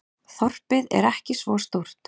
Þorpið er ekki svo stórt.